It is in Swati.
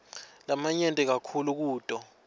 lamanyenti kakhulu kuto